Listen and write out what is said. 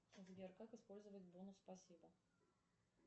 сбер как использовать бонус спасибо